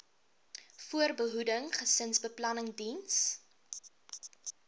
voorbehoeding gesinsbeplanning diens